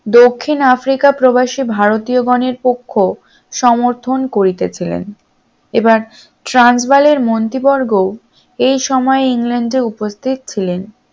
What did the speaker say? দক্ষিণ আফ্রিকা প্রবাসী ভারতীয় গণের পক্ষ সমর্থন করিতেছিলেন এবার ট্রান্সবালের মন্ত্রীবর্গ এই সময়ে ইংল্যান্ডে উপস্থিত ছিলেন